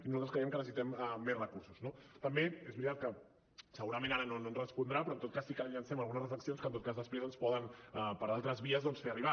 nosaltres creiem que necessitem més recursos no també és veritat que segurament ara no ens respondrà però en tot cas sí que li llancem algunes reflexions doncs que després ens poden per altres vies fer arribar